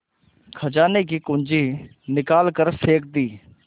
खजाने की कुन्जी निकाल कर फेंक दी